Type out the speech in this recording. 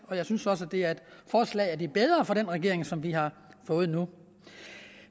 og jeg synes også at det er et forslag af de bedre fra den regering som vi har fået nu